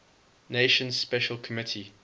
nations special committee